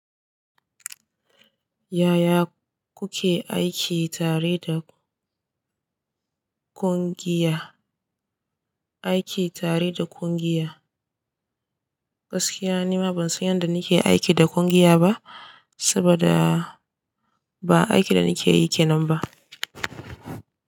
Yaya kuke aiki tare da ƙungiya, aiki tare da ƙungiya? Gaskiya nima ban san yanda nake aiki da ƙungiya ba, saboda ba aikin da nake yi kenan ba.